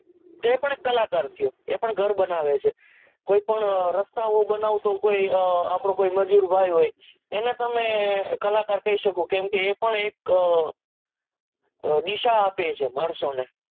તો પણ એ કલાકાર જ થયો એ પણ ઘર બનાવે છે કોઈ પણ રસ્તાઓ બનાવતો આપડો કોઈ મજુર ભાઈ હોય એને તમે કલાકાર કહી શકો કેમ કે એ પણ એક અ દીસા આપે છે માણસો ને